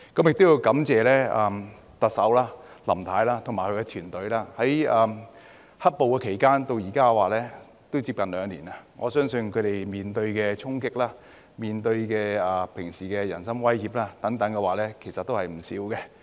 亦要感謝特首林太及她的團隊，由"黑暴"期間至今已接近兩年，我相信他們平時面對的衝擊、人身威脅等也不少。